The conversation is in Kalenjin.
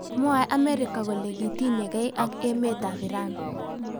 Mwoe Amerika kole kitinyegei ak emet ap Iran.